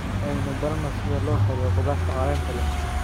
Aynu barano sida loo kariyo khudaarta caleenta leh.